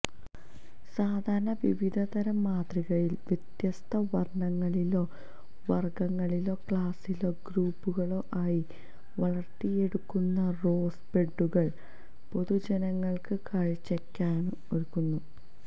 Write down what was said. സാധാരണ വിവിധതരം മാതൃകയിൽ വ്യത്യസ്ത വർണ്ണങ്ങളിലോ വർഗ്ഗങ്ങളിലോ ക്ലാസിലോ ഗ്രൂപ്പുകളോ ആയി വളർത്തിയെടുക്കുന്ന റോസ് ബെഡുകൾ പൊതുജനങ്ങൾക്ക് കാഴ്ചയ്ക്കായും ഒരുക്കുന്നു